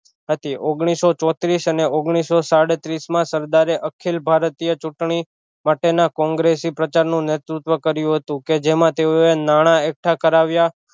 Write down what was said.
નથી ઓગનીશો ચોત્રીશ અને ઓગનીશો સાડત્રીશ માં સરદારે અખિલ ભારતીય ચુંટણી માટે ના કોંગ્રેસી પ્રચાર નું નેતૃત્વ કર્યું હતું કે જેમાં તેઓ એ નાણાં એકઠા કરાવ્યા